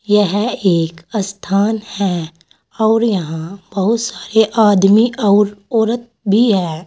यह एक स्थान है और यहां बहुत सारे आदमी और औरत भी हैं।